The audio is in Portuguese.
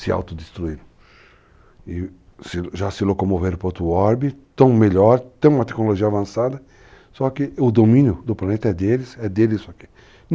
se autodestruíram e já se locomoveram para outro orbito, estão melhor, estão com uma tecnologia avançada, só que o domínio do planeta é deles, é deles isso aqui.